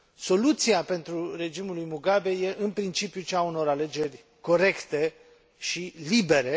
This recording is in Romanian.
Soluția pentru regimul lui Mugabe e în principiu cea a unor alegeri corecte și libere.